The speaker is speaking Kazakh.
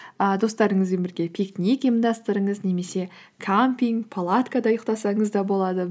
і достарыңызбен бірге пикник ұйымдастырыңыз немесе кампинг палаткада ұйықтасаңыз да болады